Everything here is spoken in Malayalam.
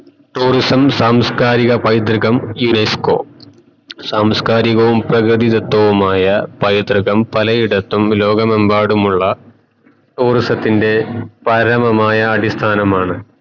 tourism സാമസ്കരിക പൈത്രികം UNESCO സാംസ്കാരികവും പ്രകൃതിതത്വവുമായ പൈതൃകം പലയിടത്തും ലോകമെമ്പാടമുള്ള tourism ത്തിൻറെ പരാമമായാ അടിസ്ഥാനമാണ്